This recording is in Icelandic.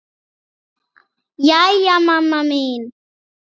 Jæja mamma mín.